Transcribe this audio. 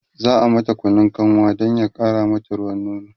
za'a mata Kunun kanwa Dan ya ƙara mata ruwan nono